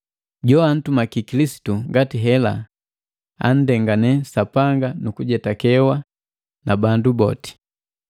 Joantumaki Kilisitu ngati hela anndengane Sapanga nu kujetakewa na bandu boti.